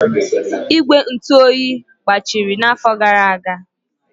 Igwe ntụ oyi gbajiri n'afọ gara aga.